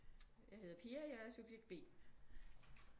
Jeg hedder Pia jeg er subjekt B